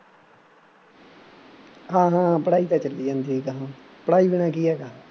ਹਾਂ ਹਾਂ ਪੜ੍ਹਾਈ ਤਾਂ ਚੱਲੀ ਜਾਂਦੀ ਅਗਾਂਹ, ਪੜ੍ਹਾਈ ਬਿਨਾ ਕੀ ਹੈਗਾ